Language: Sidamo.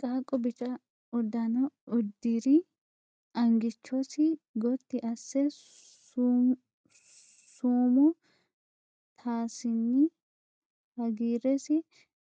Qaaqqu bica uddano uddirr angichosi gotti asse sumuu taasinna hagiirresi